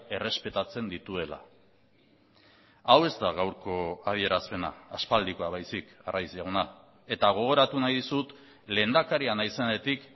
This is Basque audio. errespetatzen dituela hau ez da gaurko adierazpena aspaldikoa baizik arraiz jauna eta gogoratu nahi dizut lehendakaria naizenetik